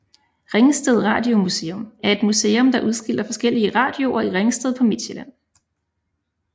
Ringsted Radiomuseum er et museum der udstiller forskellige radioer i Ringsted på Midtsjælland